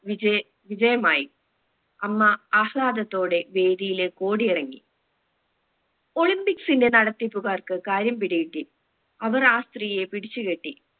VJ വിജയമായി അമ്മ ആഹ്‌ളാദത്തോടെ വേദിയിലേക്ക് ഓടിയിറങ്ങി olympics ന്റെ നടത്തിപ്പുകാർക്ക് കാര്യം പിടി കിട്ടി അവർ ആ സ്ത്രീയെ പിടിച്ചു കെട്ടി